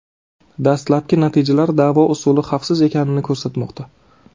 Dastlabki natijalar davo usuli xavfsiz ekanini ko‘rsatmoqda.